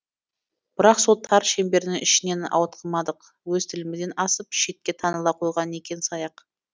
бірақ сол тар шеңбердің ішінен ауытқымадық өз тілімізден асып шетте таныла қойғаны некен саяқ